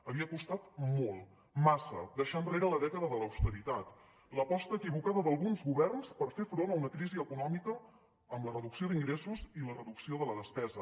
havia costat molt massa deixar enrere la dècada de l’austeritat l’aposta equivocada d’alguns governs per fer front a una crisi econòmica amb la reducció d’ingressos i la reducció de la despesa